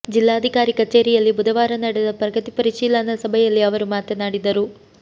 ಜಿಲ್ಲಾಧಿಕಾರಿ ಕಚೇರಿಯಲ್ಲಿ ಬುಧವಾರ ನಡೆದ ಪ್ರಗತಿ ಪರಿಶೀಲನಾ ಸಭೆಯಲ್ಲಿ ಅವರು ಮಾತನಾಡಿದರು